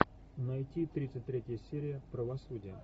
найти тридцать третья серия правосудие